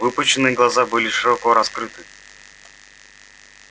выпученные глаза были широко раскрыты